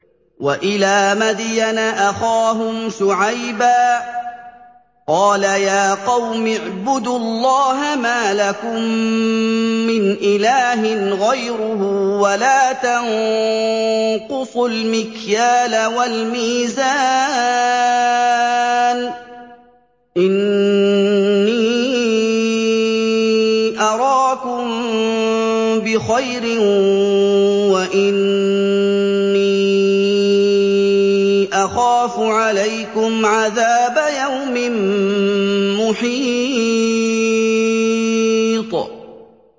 ۞ وَإِلَىٰ مَدْيَنَ أَخَاهُمْ شُعَيْبًا ۚ قَالَ يَا قَوْمِ اعْبُدُوا اللَّهَ مَا لَكُم مِّنْ إِلَٰهٍ غَيْرُهُ ۖ وَلَا تَنقُصُوا الْمِكْيَالَ وَالْمِيزَانَ ۚ إِنِّي أَرَاكُم بِخَيْرٍ وَإِنِّي أَخَافُ عَلَيْكُمْ عَذَابَ يَوْمٍ مُّحِيطٍ